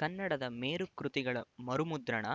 ಕನ್ನಡದ ಮೇರುಕೃತಿಗಳ ಮರುಮುದ್ರಣ